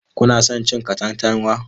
Kuna son cin katantanwa?